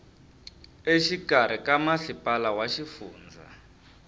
exikarhi ka masipala wa xifundza